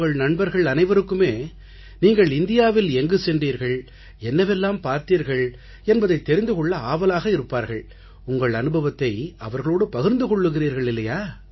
உங்கள் நண்பர்கள் அனைவருக்குமே நீங்கள் இந்தியாவில் எங்கே சென்றீர்கள் என்னவெல்லாம் பார்த்தீர்கள் என்பதைத் தெரிந்து கொள்ள ஆவலாக இருப்பார்கள் உங்கள் அனுபவத்தை அவர்களோடு பகிர்ந்து கொள்ளுகிறீர்கள் இல்லையா